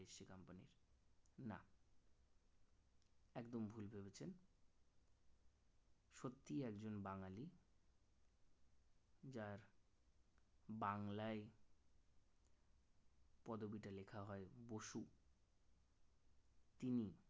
সত্যিই একজন বাঙালি যার বাংলায় পদবীটা লেখা হয় বসু তিনি